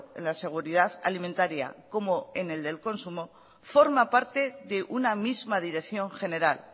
en la seguridad alimentaria como en el del consumo forma parte de una misma dirección general